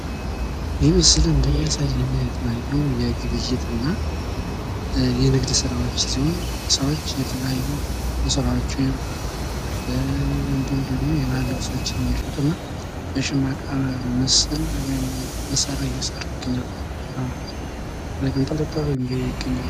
ይህ ምስል እንደሚያሳየን የተለያዩ የግብይትና የንግድ ስራወችን እንዲሁም የሸማ ውጤቶችን የሚሰራ ወጣትን ሲሆን ብዛት ያላቸው የሸማ ውጤቶችም በዙሪያው ይታያሉ።